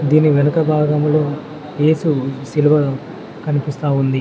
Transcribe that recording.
దీని వెనుక భాగంలో యేసు శిలువ కనిపిస్తా ఉంది.